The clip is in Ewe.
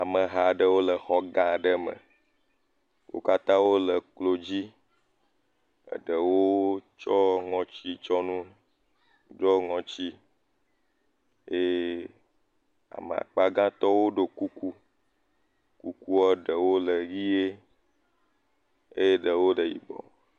Ameha aɖewo le xɔ gã aɖe me, wo katã wole klo dzi, ɖewo tsɔ ŋɔtitsiɔnu ɖo ŋɔti eye ame akpa gãtɔwo ɖo kuku, kukua ɖewo le ʋie, eye ɖewo le yibɔ.